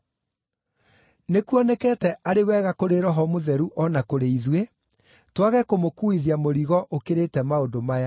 Nĩkuonekete arĩ wega kũrĩ Roho Mũtheru o na kũrĩ ithuĩ twage kũmũkuuithia mũrigo ũkĩrĩte maũndũ maya: